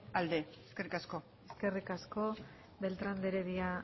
alde eskerrik asko eskerrik asko beltrán de heredia